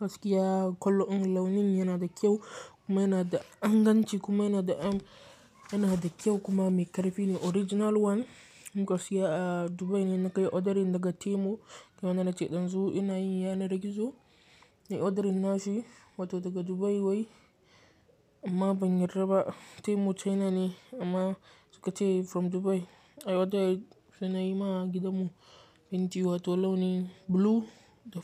gaskiya kalan launin yana da kyau kuma yana da inganci kuma yana da am yana da kyau kuma mai ƙarfi ne original one gaskiya Dubai ne na kai odar daga Temu game da na ce ɗan zu inayi yana da gizo na yi odaring nashi wato daga Dubai wai amma ban yarda ba Temu China ne amma suka ce from Dubai. Ai oda sai na yi ma gidanmu fenti wato launin blue da.